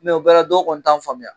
Mɛ o bɛɛ la dɔw kɔni t'an faamuya.